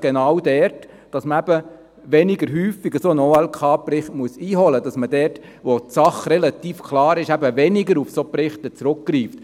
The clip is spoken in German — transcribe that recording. genau dort, dass man weniger häufig einen solchen OLK-Bericht einholt, dass man dort, wo die Sache relativ klar ist, weniger auf solche Berichte zurückgreift.